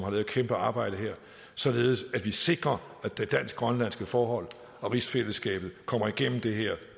et kæmpearbejde her således at vi sikrer at det dansk grønlandske forhold og rigsfællesskabet kommer igennem det her